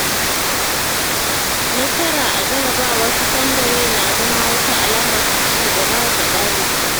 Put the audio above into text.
Nasara a jarrabawar sakandare na zama wata alama ta ci gaba ga ɗalibi.